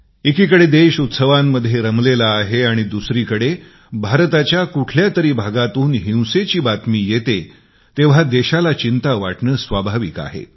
एकीकडे संपूर्ण देश उत्सव मनवत असतांना दुसरीकडे भारताच्या कुठल्या तरी भागातून हिंसेची बातमी येते तेंव्हा देशाची चिंता होणे स्वाभाविक आहे